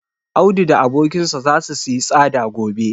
Audu da abokinsa zasu siyi tsada gobe.